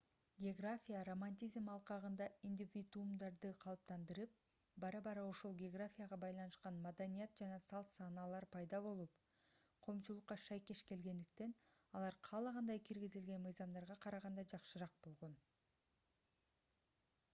география романтизм алкагында индивидуумдарды калыптандырып бара-бара ошол географияга байланышкан маданият жана салт-санаалар пайда болуп коомчулукка шайкеш келгендиктен алар каалагандай киргизилген мыйзамдарга караганда жакшыраак болгон